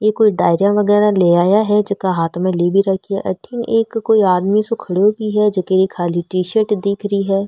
ये कोई डायरिया वगेरा ले आया है जेकि हाथ में ले भी रखो है अठन कोई आदमी सो खड़ा भी है जेके की खाली टीसर्ट दिख रि है।